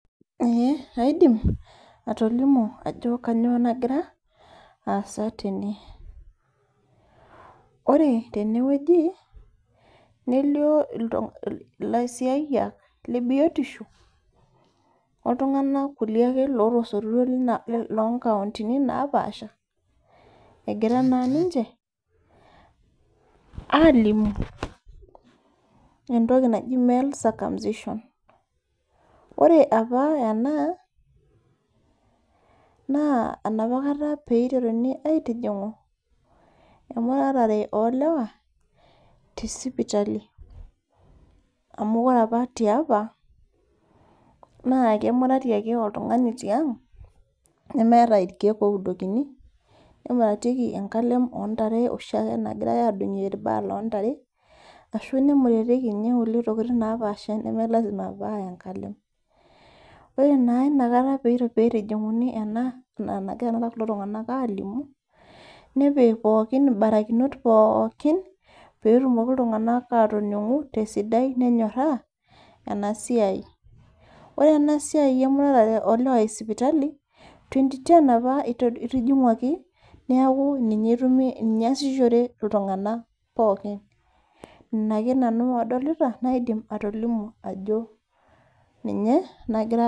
Aidim atolimu Ajo kainyio nagira asaa tene ore tenewueji nelio laisiahiak lee biotisho oltung'ana kulie lootasotutuo loo nkaundini napashaa egira naa ninche alimu entoki naaji male circumcision ore apa ena naa enapakata pee eteruni aitiningu emuratare oo lewa tee sipitali amu ore apa tiapa naa kemurati ake oltung'ani tiang nemeeta irkeek oudukoni nemuratikie enkalem oo ntare ashu nemuratikie nkulie tokitin naapasha neme lasima paa enkalem ore naa ena pee eitijinguni ena nagira kulo tung'ana alimu nepiki mbarakinot pookin petumoki iltung'ana atoningu tee sidai nenyoraa ena siai ore ena siai emuratare oo lewa ee sipitali 2010 apa eitijinguaki neeku ninye ake nanu adolita naidim atolimu Ajo ninye nagira asaa